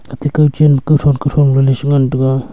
atte kao chen kauton kauthon gale sa ngan taga.